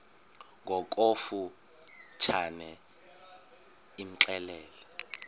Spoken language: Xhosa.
ngokofu tshane imxelele